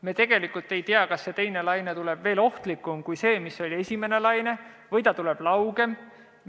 Me tegelikult ei tea, kas teine laine tuleb ohtlikum kui esimene laine või tuleb ta laugem.